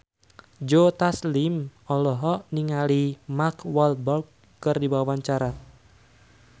Joe Taslim olohok ningali Mark Walberg keur diwawancara